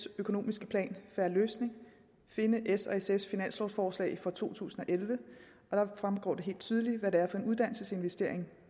økonomiske plan en fair løsning og finde s og sf’s finanslovforslag for to tusind og elleve der fremgår det helt tydeligt hvad det er for en uddannelsesinvestering